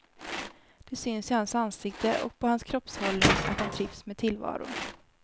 Det syns i hans ansikte och på hans kroppshållning att han trivs med tillvaron.